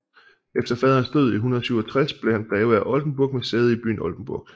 Efter faderens død i 167 blev han greve af Oldenburg med sæde i byen Oldenburg